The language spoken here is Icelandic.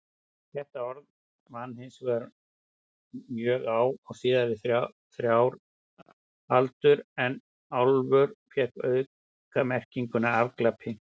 Þetta orð vann hinsvegar mjög á síðustu þrjár aldur en álfur fékk aukamerkinguna afglapi.